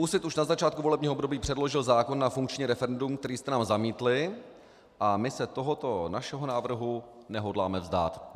Úsvit už na začátku volebního období předložil zákon na funkční referendum, který jste nám zamítli, a my se tohoto našeho návrhu nehodláme vzdát.